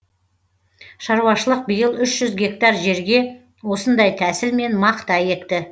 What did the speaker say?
шаруашылық биыл үш жүз гектар жерге осындай тәсілмен мақта екті